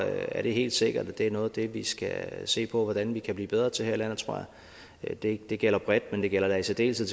er det helt sikkert at det er noget af det vi skal se på hvordan vi kan blive bedre til her i landet det det gælder bredt men det gælder da i særdeleshed